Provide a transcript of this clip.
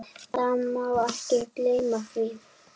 Það má ekki gleyma því.